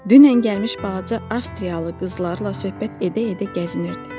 Dünən gəlmiş balaca Avstriyalı qızlarla söhbət edə-edə gəzinirdi.